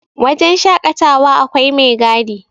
wajen shaƙatawa akwai mai gadi